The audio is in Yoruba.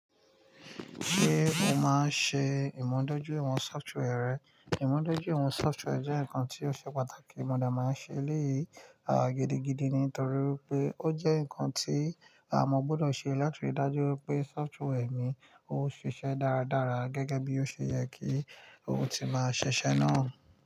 Ṣé mo máa ń ṣe ìmùdójúìwọ̀n software rẹ́? Ìmúdójúìwọ̀n software jẹ́ nǹkan tí ó ṣe pàtàkì, mo demáa ń ṣe léyìí a gidigidi nítorí pé ó jẹ́ nǹkan tí à mo gbọ́dọ̀ ṣe láti rí i dájú pé software mi ó ṣiṣẹ́ dáradára gẹ́gẹ́ bí ó ṣe yẹ kí ó ti máa ṣise náà.